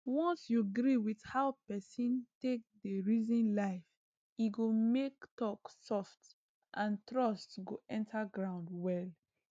once you gree with how person take dey reason life e go make talk soft and trust go enter ground well